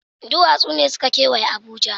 Duwatsu ne suka kewaye Abuja.